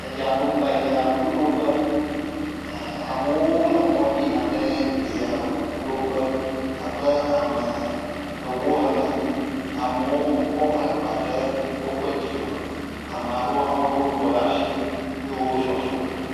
Eyaɖo eyaŋuɖoƒe, amewo le mɔ dzi yina ɖe eyaŋuɖoƒe abe ame ewo ene, ame aɖewo kɔ woƒe agbawo ɖe woƒe dzime eye ame aɖewo lo wotɔ ɖe asi eye wole zɔzɔ.